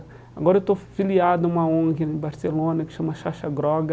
Agora eu estou filiado em uma ONG em Barcelona que chama Chacha Groga.